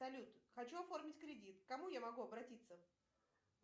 салют хочу оформить кредит к кому я могу обратиться